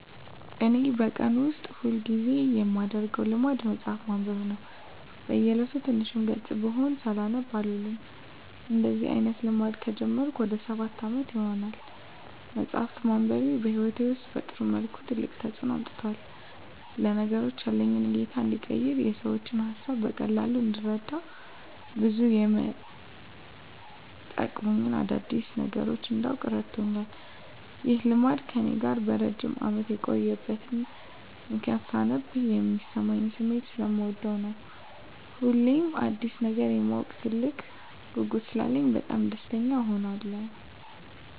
እኔ በቀን ውስጥ ሁል ጊዜ የማደረገው ልማድ መጽሀፍ ማንበብ ነው። በ እየለቱ ትንሽም ገፅ ብትሆን ሳላነብ አልውልም። እንደዚህ አይነት ልማድ ከጀመርኩ ወደ ሰባት አመት ይሆናል። መፅሃፍ ማንበቤ በህይወቴ ውስጥ በጥሩ መልኩ ትልቅ ተፅዕኖ አምጥቷል። ለነገሮች ያለኝ እይታ እንዲቀየር፣ የሰዎችን ሀሳብ በቀላሉ እንድረዳ፣ ብዙ የመጠቅሙኝን አዳዲስ ነገሮች እንዳውቅ እረድቶኛል። ይህ ልማድ ከእኔ ጋር ለረጅም አመት የቆየበት ምክንያትም ሳነብ የሚሰማኝን ስሜት ሰለምወደው ነው። ሁሌም አዲስ ነገር የማወቅ ትልቅ ጉጉት ስላለኝ በጣም ደስተኛ እሆናለሁ።